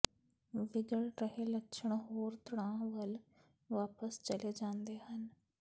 ਵਿਗੜ ਰਹੇ ਲੱਛਣ ਹੋਰ ਤਣਾਅ ਵੱਲ ਵਾਪਸ ਚਲੇ ਜਾਂਦੇ ਹਨ